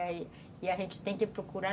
E a gente tem que procurar